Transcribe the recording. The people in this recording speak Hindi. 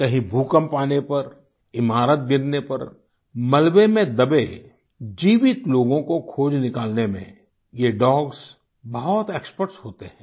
कहीं भूकंप आने पर ईमारत गिरने पर मलबे में दबे जीवित लोगों को खोज निकालने में ये डॉग्स बहुत एक्सपर्ट होते हैं